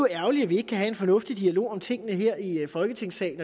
ærgerligt at vi ikke kan have en fornuftig dialog om tingene her i folketingssalen